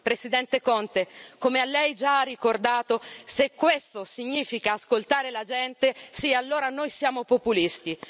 Presidente Conte, come Lei ha già ricordato, se questo significa ascoltare la gente, allora sì, noi siamo populisti.